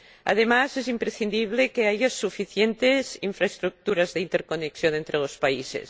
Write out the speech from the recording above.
Además, es imprescindible que haya suficientes infraestructuras de interconexión entre los países.